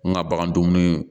N ka bagan dumuni